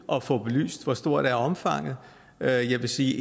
at få belyst hvor stort omfanget er jeg vil sige